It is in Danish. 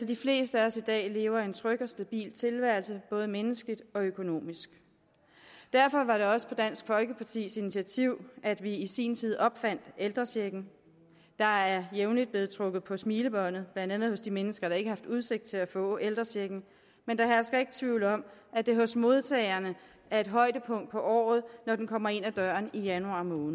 de fleste af os i dag lever en tryg og stabil tilværelse både menneskeligt og økonomisk derfor var det også på dansk folkepartis initiativ at vi i sin tid opfandt ældrechecken der er jævnligt blevet trukket på smilebåndet blandt andet hos de mennesker der ikke har haft udsigt til at få ældrechecken men der hersker ikke tvivl om at det hos modtagerne er et højdepunkt i året når den kommer ind ad døren i januar måned